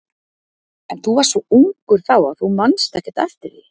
En þú varst svo ungur þá að þú manst ekkert eftir því.